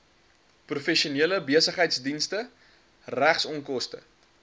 professionele besigheidsdienste regsonkoste